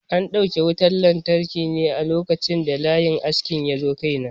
An dauke wutan lantarki ne a lokacin da layin askin yazo kai na.